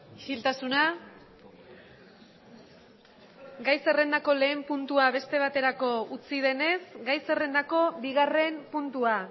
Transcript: isiltasuna gai zerrendako lehen puntua beste baterako utzi denez gai zerrendako bigarren puntua